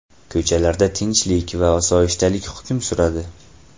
Ko‘chalarda tinchlik va osoyishtalik hukm suradi.